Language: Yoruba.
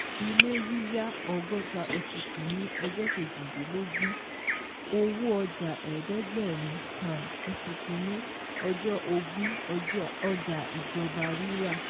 Ilé yíyá ọgọ́ta oṣù kìíní ọjọ́ kejìdínlógún owó ọjà eedegberin um oṣù kìíní ọjọ́ ogún ọjà ìjọba rírà